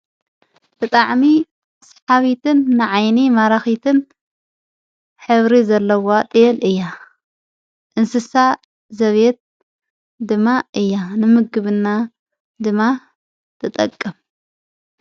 ብጥዕሚ ስሓዊትን ንዓይኒ ማራኺትን ኅብሪ ዘለዋ ጥየል እያ እንስሳ ዘቢት ድማ እያ ንምግብና ድማ ተጠቅም።